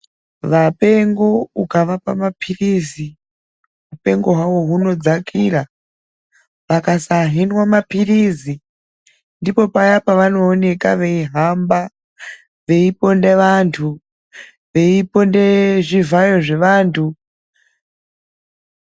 Vapengo ukavapa mapilizi upengo hwavo hunodzakira. Vakasahinwa mapilizi ndipo paya pavanooneka veihamba veiponda antu veiponda zvivhayo zvevantu.